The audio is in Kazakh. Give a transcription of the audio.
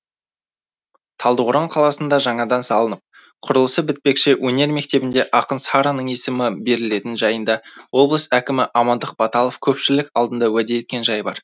талдықорған қаласында жаңадан салынып құрылысы бітпекші өнер мектебіне ақын сараның есімі берілетіні жайында облыс әкімі амандық баталов көпшілік алдында уәде еткен жайы бар